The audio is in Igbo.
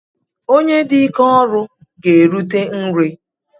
Onye dị ike ọrụ ga-erute nri